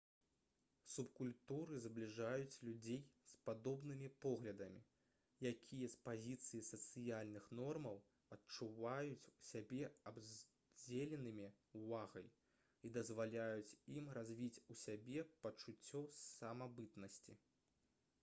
субкультуры збліжаюць людзей з падобнымі поглядамі якія з пазіцыі сацыяльных нормаў адчуваюць сябе абдзеленымі ўвагай і дазваляюць ім развіць у сябе пачуццё самабытнасці